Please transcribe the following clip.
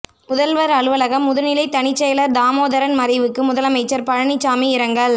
முதல்வர் அலுவலக முதுநிலை தனிச் செயலர் தாமோதரன் மறைவுக்கு முதலமைச்சர் பழனிசாமி இரங்கல்